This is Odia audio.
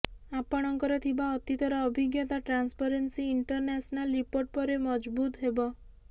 ଆପଣଙ୍କର ଥିବା ଅତୀତର ଅଭିଜ୍ଞତା ଟ୍ରାନ୍ସପରେନ୍ସୀ ଇଂଟରନ୍ୟାସନାଲ ରିପୋର୍ଟ ପରେ ମଜଭୁତ ହେବ